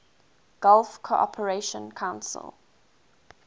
gulf cooperation council